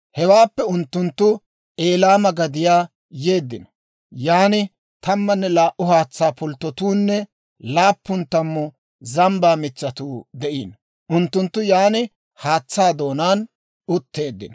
Hewaappe unttunttu Eliima giya gadiyaa yeeddino; yaan tammanne laa"u haatsaa pulttotuunne laappun tammu zambbaa mitsatuu de'iino. Unttunttu yaan haatsaa doonaan utteeddino.